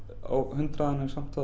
á hundrað en samt